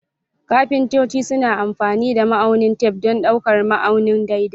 Kafintoci suna amfani da ma'aunin tef don ɗaukar ma'auni daidai.